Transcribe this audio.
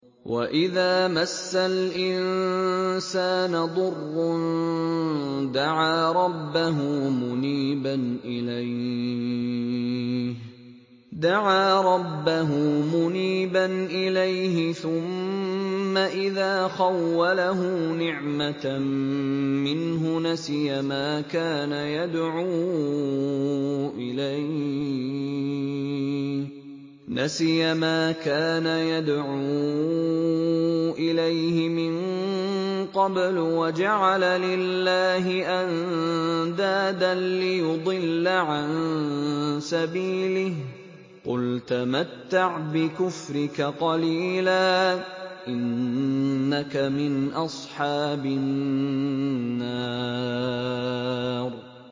۞ وَإِذَا مَسَّ الْإِنسَانَ ضُرٌّ دَعَا رَبَّهُ مُنِيبًا إِلَيْهِ ثُمَّ إِذَا خَوَّلَهُ نِعْمَةً مِّنْهُ نَسِيَ مَا كَانَ يَدْعُو إِلَيْهِ مِن قَبْلُ وَجَعَلَ لِلَّهِ أَندَادًا لِّيُضِلَّ عَن سَبِيلِهِ ۚ قُلْ تَمَتَّعْ بِكُفْرِكَ قَلِيلًا ۖ إِنَّكَ مِنْ أَصْحَابِ النَّارِ